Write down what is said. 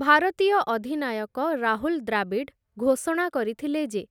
ଭାରତୀୟ ଅଧିନାୟକ ରାହୁଲ୍‌ ଦ୍ରାବିଡ଼୍‌ ଘୋଷଣା କରିଥିଲେ ଯେ